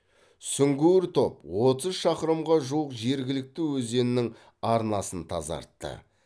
сүңгуір топ отыз шақырымға жуық жергілікті өзеннің арнасын тазартты